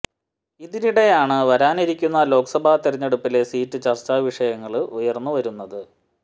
ഇതിനിടെയാണ് വരാനിരിക്കുന്ന ലോക്സഭാ തിരഞ്ഞെടുപ്പിലെ സീറ്റ് ചര്ച്ചാ വിഷയങ്ങള് ഉയര്ന്നു വരുന്നത്